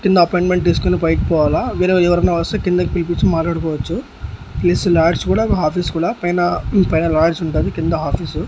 కింద అపాయింట్మెంట్ తీసుకొని పైకి పోవాలా వేరేవాళ్ళు ఎవరైనా వస్తే కిందకి పిలిపించి మాట్లాడుకోవచ్చు ప్లస్ లాడ్జ్ కూడా ఆఫీస్ కూడా పైన పైన లాయర్స్ ఉంటారు కింద ఆఫీస్ .